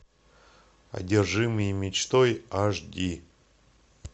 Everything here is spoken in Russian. одержимые мечтой аш ди